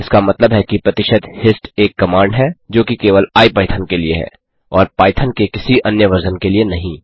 इसका मतलब है कि प्रतिशत हिस्ट एक कमांड है जोकि केवल आईपाइथन के लिए है और पाइथन के किसी अन्य वर्ज़न के लिए नहीं